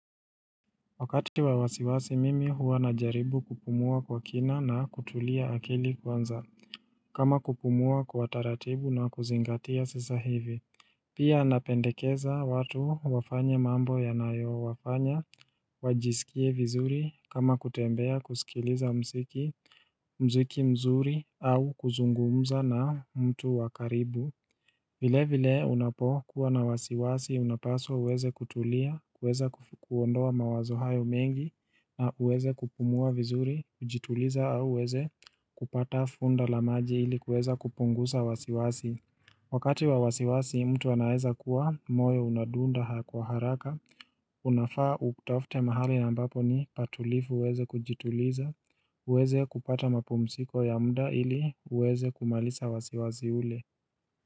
Wakati wa wasiwasi mimi huwa na jaribu kupumua kwa kina na kutulia akili kwanza kama kupumua kwa taratibu na kuzingatia sasa hivi Pia napendekeza watu wafanye mambo yanayo wafanya wajisikie vizuri kama kutembea, kusikiliza mziki, mziki mzuri au kuzungumza na mtu wa karibu vile vile unapo kuwa na wasiwasi unapaswa uweze kutulia, kuweza kuondoa mawazo hayo mengi na uweze kupumua vizuri, kujituliza au uweze kupata funda la maji ili kuweza kupungusa wasiwasi. Wakati wa wasiwasi mtu anaweza kuwa moyo unadunda kwa haraka, unafaa utafute mahali ambapo ni patulivu uweze kujituliza, uweze kupata mapumziko ya muda ili uweze kumaliza wasiwasi ule.